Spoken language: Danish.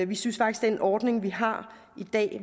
vi synes faktisk at den ordning vi har i dag